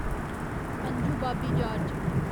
Anju Bobby George